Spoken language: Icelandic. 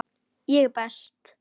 Ég er best.